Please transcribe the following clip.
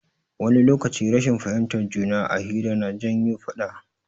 Wani lokaci rashin fahimtar juna a hira na janyo faɗa.